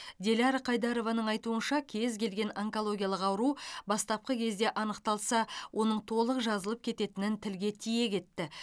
диляра қайдарованың айтуынша кез келген онкологиялық ауру бастапқы кезде анықталса оның толық жазылып кететінін тілге тиек етті